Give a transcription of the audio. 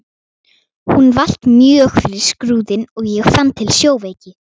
Hún valt mjög fyrir Skrúðinn og ég fann til sjóveiki.